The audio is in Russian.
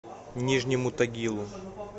нижнему тагилу